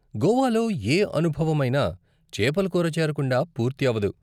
గోవాలో ఏ అనుభవమైనా చేపల కూర చేరకుండా పూర్తి అవ్వదు.